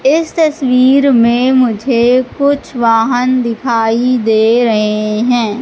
इस तस्वीर में मुझे कुछ वाहन दिखाई दे रहे हैं।